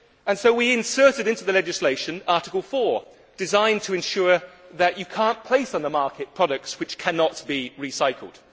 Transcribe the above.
So we inserted into the legislation Article 4 designed to ensure that you cannot place on the market products which cannot be recycled.